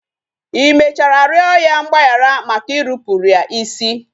I mechara rịọ ya mgbaghara maka irupuru ya isi?